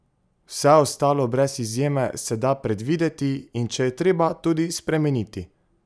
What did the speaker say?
Vse ostalo, brez izjeme, se da predvideti, in če je treba, tudi spremeniti!